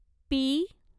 P